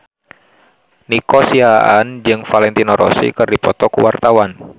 Nico Siahaan jeung Valentino Rossi keur dipoto ku wartawan